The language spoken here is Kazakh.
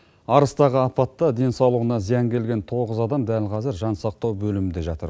арыстағы апатты денсаулығына зиян келген тоғыз адам дәл қазір жансақтау бөлімінде жатыр